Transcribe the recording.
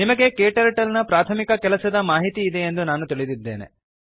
ನಿಮಗೆ KTurtleನ ಪ್ರಾಥಮಿಕ ಕೆಲಸದ ಮಾಹಿತಿ ಇದೆಯೆಂದು ತಿಳಿದಿದ್ದೇನೆ